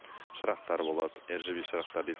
шырақтар болады шырақтар дейді